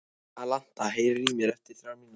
Alanta, heyrðu í mér eftir þrjár mínútur.